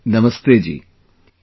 Namaste Ji |